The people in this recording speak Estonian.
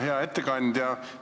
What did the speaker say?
Hea ettekandja!